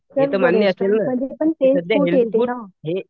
तरीपण तेच food healthy ना